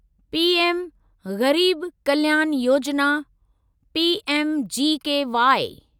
PM Garib Kalyan Yojana PMGKY